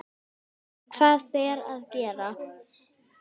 En hvað ber að gera?